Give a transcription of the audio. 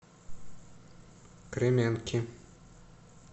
кременки